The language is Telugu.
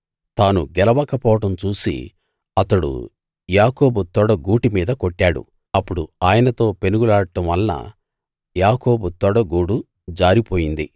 తాను గెలవకపోవడం చూసి అతడు యాకోబు తొడ గూటి మీద కొట్టాడు అప్పుడు ఆయనతో పెనుగులాడ్డం వలన యాకోబు తొడ గూడు జారిపోయింది